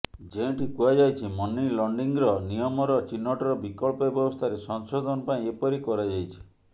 ଯେଉଁଠି କୁହାଯାଇଛି money laundering ନିୟମର ଚିହ୍ନଟର ବିକଳ୍ପ ବ୍ୟବସ୍ଥାରେ ସଂଶୋଧନ ପାଇଁ ଏପରି କରାଯାଇଛି